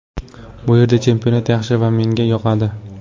Bu yerda chempionat yaxshi va menga yoqadi.